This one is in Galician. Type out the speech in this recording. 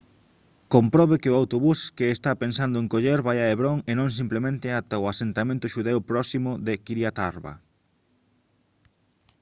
comprobe que o autobús que está pensando en coller vai a hebrón e non simplemente ata o asentamento xudeu próximo de kiryat arba